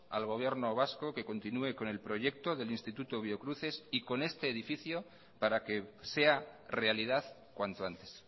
al gobierno vasco que continúe con el proyecto del instituto biocruces y con este edificio para que sea realidad cuanto antes